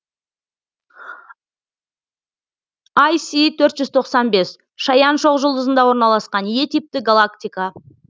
іс төрт жүз тоқсан бес шаян шоқжұлдызында орналасқан е типті галактика